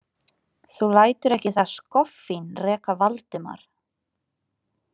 Þú lætur ekki það skoffín reka Valdimar!